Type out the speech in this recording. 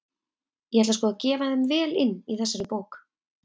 Ég ætla sko að gefa þeim vel inn í þessari bók!